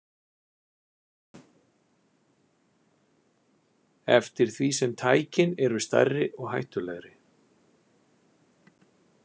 Eftir því sem tækin eru stærri og hættulegri.